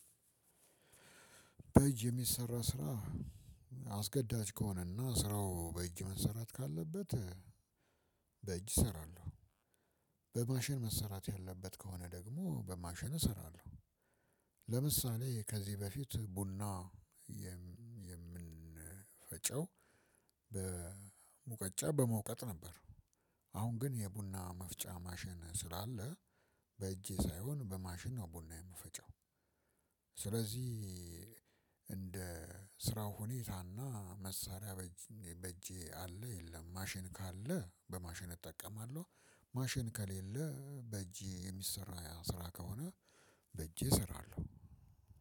በእጅ የሚሰራ ስራ አስገዳጅ ከሆነና ስራው በእጅ መሰራት ካለበት በእጅ እሰራለሁ በማሸን መሰራት ያለበት ከሆነ ደግሞ በማሸን እሰራለሁ። ለምሳሌ ከዚህ በፊት ቡና የምንፈጨው በሙቀጫ በመውቀጥ ነበር። አሁን ግን የቡና መፍጫ ማሽን ስላለ በእጄ ሳይሆን በማሽን ነው ቡና የምፈጨው። ስለዚህ እንደ ስራው ሁኔታና መሳሪያ በእጄ አለ የለም ማሽን ካለ በማሽን እጠቀማለሁ። ማሽን ከሌለ በእጄ የሚሰራ ስራ ከሆነ በእጄ እሰራለሁ።